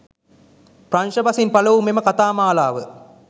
ප්‍රංශ බසින් පළවූ මෙම කතා මාලාව